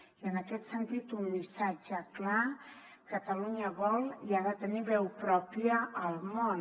i en aquest sentit un missatge clar catalunya vol i ha de tenir veu pròpia al món